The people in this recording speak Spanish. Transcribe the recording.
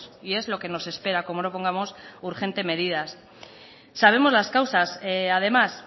y es lo que nos espera como no pongamos urgentes medidas sabemos las causas además